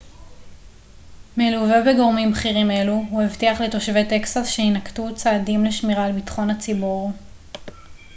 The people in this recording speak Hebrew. מלווה בגורמים בכירים אלו הוא הבטיח לתושבי טקסס שיינקטו צעדים לשמירה על ביטחון הציבור